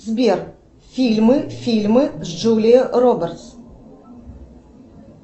сбер фильмы фильмы с джулией робертс